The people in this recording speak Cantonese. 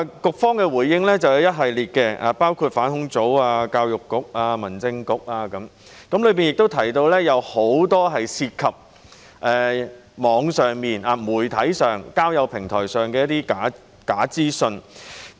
局方作出了一系列回應，涵蓋反恐專責組、教育局、民政事務局等，並提到很多在網上、媒體和交友平台的假資訊。